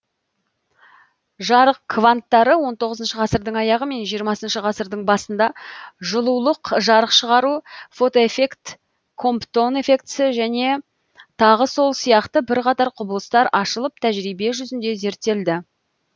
жарық кванттары он тоғызыншы ғасырдың аяғы мен жиырмасыншы ғасырдың басында жылулық жарық шығару фотоэффект комптон эффектісі және тағы сол сияқты бірқатар құбылыстар ашылып тәжірибе жүзінде зерттелді